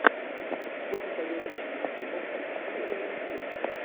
что посоветуешь из фильмов с актрисой роуз бирн